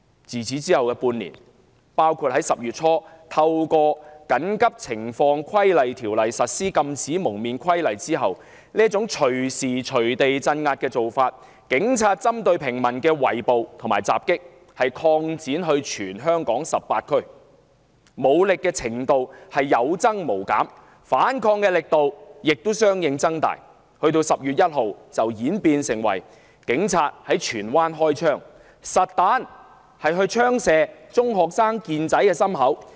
在此後的半年，特別在香港政府於10月初引用《緊急情況規例條例》實施《禁止蒙面規例》後，警方這類隨意鎮壓、針對平民的圍捕和襲擊擴展至全香港18區，武力程度不斷升級，反抗力度亦相應增強，終於演變成10月1日警員在荃灣開槍，實彈槍擊中學生健仔胸口的事件。